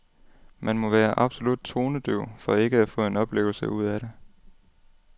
Man må være absolut tonedøv for ikke at få en oplevelse ud af det.